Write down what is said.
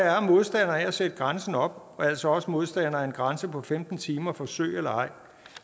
er modstandere af at sætte grænsen op og er altså også modstandere af en grænse på femten timer forsøg eller ej